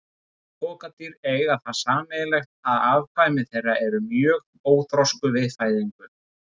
Öll pokadýr eiga það sameiginlegt að afkvæmi þeirra eru mjög óþroskuð við fæðingu.